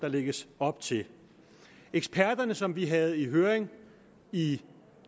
lægges op til eksperterne som vi havde i høring i